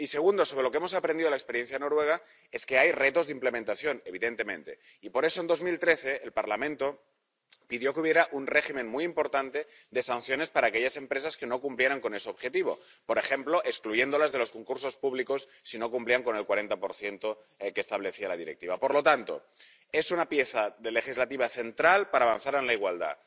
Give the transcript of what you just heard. Y segunda, lo que hemos aprendido de la experiencia noruega es que hay retos de implementación, evidentemente, y por eso en 2013 el Parlamento pidió que hubiera un régimen muy importante de sanciones para aquellas empresas que no cumplieran con ese objetivo, por ejemplo excluyéndolas de los concursos públicos si no cumplían con el 40 que establecía la Directiva. Por lo tanto, es una pieza legislativa central para avanzar en la igualdad.